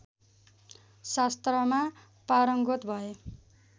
शास्त्रमा पारङ्गत भए